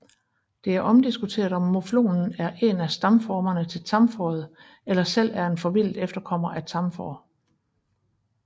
Det er omdiskuteret om muflonen er en af stamformerne til tamfåret eller selv er en forvildet efterkommer af tamfår